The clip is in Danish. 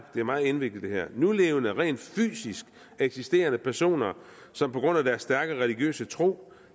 er meget indviklet det her at nulevende rent fysisk eksisterende personer som på grund af deres stærke religiøse tro